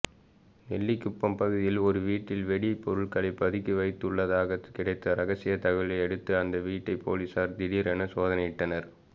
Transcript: நெல்லிக்குப்பம் பகுதியில் ஒரு வீட்டில் வெடி பொருட்கள் பதுக்கி வைக்கப்பட்டுள்ளதாக கிடைத்த ரகசியதகவலையடுத்து அந்த வீட்டை போலீஸார் திடீரென சோதனையிட்டனர்